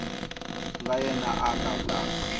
ku nga yena a lawulaka